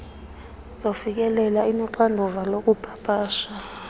zokufikelela inoxanduva lokupapasha